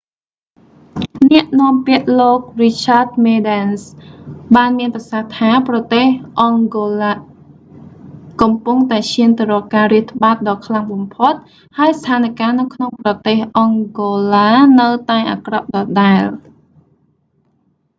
អ្នកនាំពាក្យ លោក richard medans រីឆាត មេឌែនស៍ បានមានប្រសាសន៍ថា៖ ប្រទេសអង់ហ្គោឡាកំពុងតែឈានទៅរកការរាតត្បាតដ៏ខ្លាំងបំផុត ហើយស្ថានការណ៍នៅក្នុងប្រទេសអង់ហ្គោឡានៅតែអាក្រក់ដដែល